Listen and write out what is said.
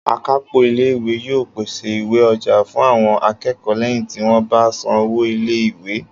Akápò ilé ìwé yóò pèsè ìwé-ọjà fún àwọn akẹ́kọ̀ọ́ lẹ́yìn tí wọ́n bá san owó ilé ìwé